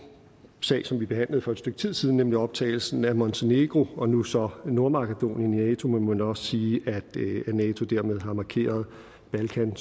sag som vi behandlede for et stykke tid siden nemlig optagelsen af montenegro og nu så nordmakedonien i nato må man også sige at nato dermed har markeret balkan